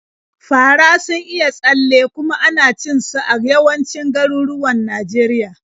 Fara sun iya tsalle, kuma ana cin su a yawancin garuruwan Najeriya.